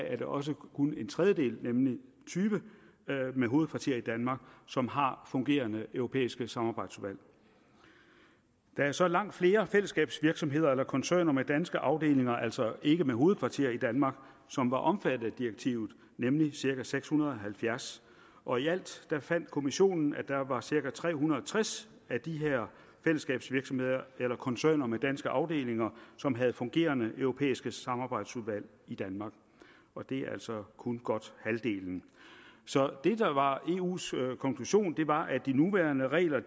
er det også kun en tredjedel nemlig tyve med hovedkvarter i danmark som har fungerende europæiske samarbejdsudvalg der er så langt flere fællesskabsvirksomheder eller koncerner med danske afdelinger altså ikke med hovedkvarter i danmark som var omfattet af direktivet nemlig cirka seks hundrede og halvfjerds og i alt fandt kommissionen at der var cirka tre hundrede og tres af de her fællesskabsvirksomheder eller koncerner med danske afdelinger som havde fungerende europæiske samarbejdsudvalg i danmark det er altså kun godt halvdelen så det der var eus konklusion var at de nuværende regler